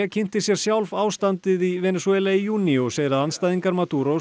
kynnti sér sjálf ástandið í Venesúela í júní og segir að andstæðingar